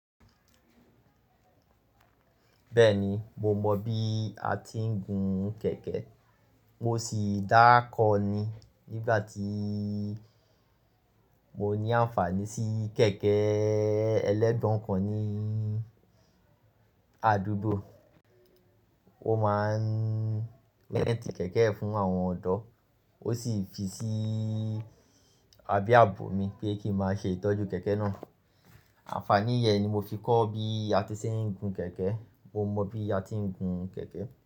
Bẹ́ẹ̀ni, mo mọ bí a ti ń gun kẹ̀kẹ́. Mo sì dákọ́ọ̀ ni nígbà tí mo ní àǹfààní sí kẹ̀kẹ́ ẹlẹ́gbọ̀n kan ní àdúgbò. Ó máa ń rẹ́ntì kẹ̀kẹ́ fún àwọn ọ̀dọ́. Ó sì fi sí abe abò mi pé kí n máa ṣe ìtọ́jú kẹ̀kẹ́ náà. Àǹfààní yẹn ni mo fi kọ́ bí a ti ṣe ń gun kẹ̀kẹ́. Mo mọ bí a ti ń gun kẹ̀kẹ́